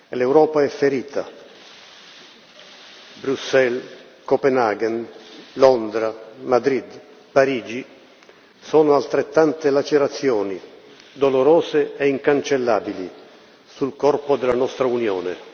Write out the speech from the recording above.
L'Europa è ferita Bruxelles, Copenaghen, Londra, Madrid, Parigi, sono altrettante lacerazioni dolorose e incancellabili sul corpo della nostra Unione.